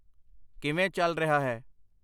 ਕਿੱਵੇਂ ਚੱਲ ਰਿਹਾ ਹੈ l